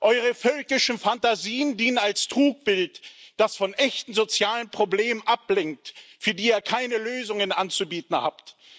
Eure völkischen Phantasien dienen als Trugbild, das von echten sozialen Problemen ablenkt, für die ihr keine Lösungen anzubieten habt.